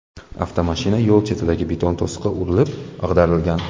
Avtomashina yo‘l chetidagi beton to‘siqqa urilib, ag‘darilgan.